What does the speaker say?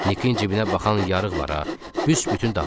Niki cibinə baxan yarıq var ha, büsbütün dağılıb.